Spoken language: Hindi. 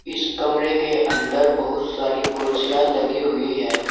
इस कमरे के अंदर बहुत सारी कुर्सियां लगी हुई है।